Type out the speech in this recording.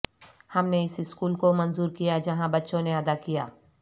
ہم نے اس سکول کو منظور کیا جہاں بچوں نے ادا کیا